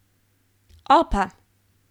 Opa!